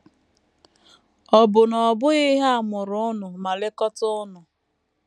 Ọ̀ bụ na ọ bụghị ha mụrụ unu ma lekọta unu?